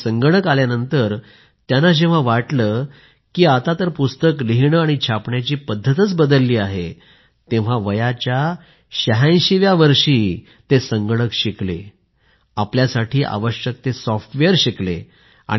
मात्र संगणक आल्यानंतर त्यांना जेव्हा वाटलं की आता तर पुस्तक लिहिणं आणि छापण्याची पद्धतच बदलली आहे तेव्हा वयाच्या 86 व्या वर्षी ते संगणक शिकले आपल्यासाठी आवश्यक सॉफ्टवेअर शिकले